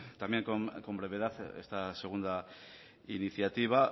también con brevedad esta segunda iniciativa